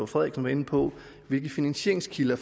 frederiksen var inde på hvilke finansieringskilder